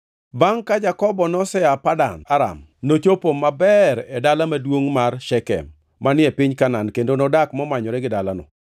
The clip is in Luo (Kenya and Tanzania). Bangʼ ka Jakobo nosea Padan Aram, nochopo maber e dala maduongʼ mar Shekem manie piny Kanaan kendo nodak momanyore gi dalano.